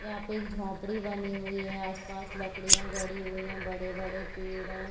यहाँ पे एक झोपड़ी बनी हुई है आस-पास लकड़िया गड़ी हुई है बड़े-बड़े पेड़ है।